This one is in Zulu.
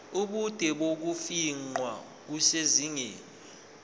ubude bokufingqa kusezingeni